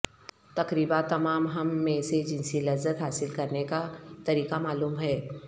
تقریبا تمام ہم میں سے جنسی لذت حاصل کرنے کا طریقہ معلوم ہے